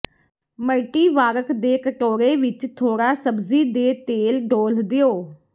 ਮਲਟੀਵਾਰਕ ਦੇ ਕਟੋਰੇ ਵਿੱਚ ਥੋੜਾ ਸਬਜ਼ੀ ਦੇ ਤੇਲ ਡੋਲ੍ਹ ਦਿਓ